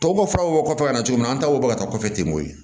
Tɔw bɔ faw kɔfɛ ka na cogo min na an taw bɔ ka taa kɔfɛ ten koyi